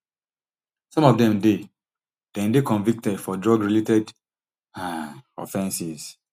some of dem dey dem dey convicted for drug related um offenses